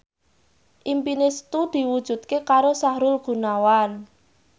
impine Setu diwujudke karo Sahrul Gunawan